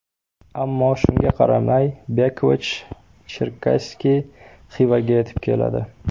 Ammo shunga qaramay Bekovich-Cherkasskiy Xivaga yetib keladi.